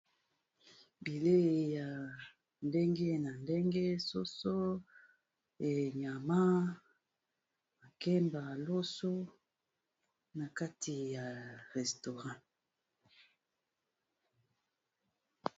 Bilei ya ndenge na ndenge soso e nyama makemba loso na kati ya restaurant.